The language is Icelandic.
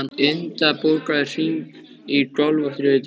Inda, bókaðu hring í golf á þriðjudaginn.